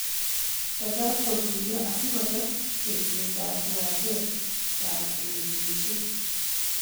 teta kotuyo asikotet tekseetap kiwanjet ap ureryoshek